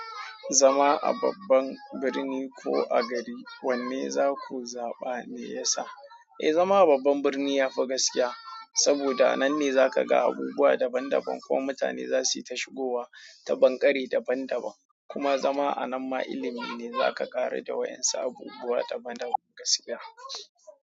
Zama a babban birni ko a gari wanne za ku zaɓa me ya sa? Eh, zama a babban birni ya fi gaskiya saboda nan ne za ka ga abubuwa daban daban ko mutane za su yi ta shigowa ta banƙare daban daban. Kuma zama a nan ma ilimi ne za ka ƙara da wayan su abubuwa daban daban gaskiya.